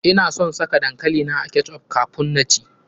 Ina son saka dankali na a ketch up kafun na ci.